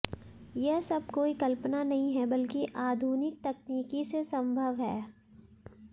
यह सब कोई कल्पना नहीं है बल्कि आधुनिक तकनीकी से संभव है